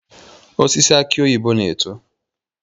Osisi aki oyibo na-eto.